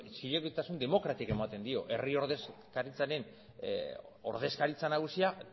zilegitasun demokratikoa ematen dio herri ordezkaritzaren ordezkaritza nagusia